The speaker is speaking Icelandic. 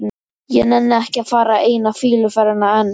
Ég nenni ekki að fara eina fýluferðina enn.